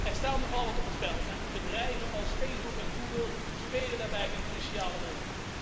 Er staat nogal wat op het spel en bedrijven als Facebook en Google spelen daarbij een cruciale rol.